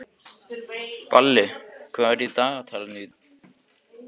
Balli, hvað er í dagatalinu í dag?